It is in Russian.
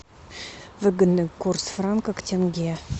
выгодный курс франка к тенге